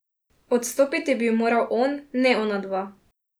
Odstopiti bi moral on, ne onadva.